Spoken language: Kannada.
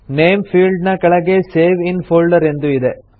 ನೇಮ್ ಫೀಲ್ಡ್ ನ ಕೆಳಗೆ ಸೇವ್ ಇನ್ ಫೋಲ್ಡರ್ ಎಂದು ಇದೆ